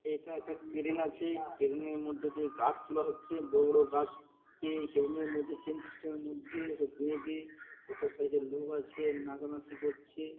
এইটা একটা ক্রেন আছে। ক্রেন -এর মধ্যে দিয়ে গাছ তুলা হচ্ছে। বড় বড় গাছ-কে এই ক্রেন -এর মধ্যে চেন সিস্টেম -এর মধ্যে ওকে বেঁধে একটা সাইড -এ লোক আছে নাচানাচি করছে।